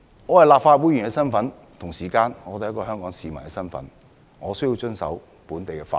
我是立法會議員，同時亦是一名香港市民，必須遵守本地法律。